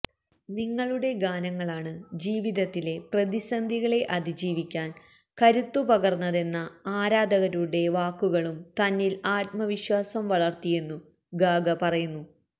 നിങ്ങളുടെ ഗാനങ്ങളാണ് ജീവിതത്തിലെ പ്രതിസന്ധികളെ അതിജീവിക്കാന് കരുത്തു പകര്ന്നതെന്ന ആരാധകരുടെ വാക്കുകളും തന്നില് ആത്മവിശ്വാസം വളര്ത്തിയെന്നു ഗാഗ പറയുന്നു